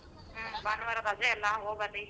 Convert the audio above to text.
ಹ್ಮ್ ಭಾನುವಾರ ರಜೆ ಅಲ್ಲ ಹೋಗ್ಬನ್ನಿ.